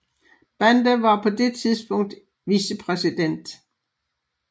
Banda var på det tidspunkt vicepræsident